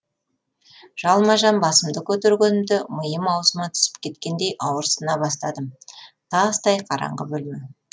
жалма жан басымды көтергенімде миым аузыма түсіп кеткендей ауырсына бастадым тастай қараңғы бөлме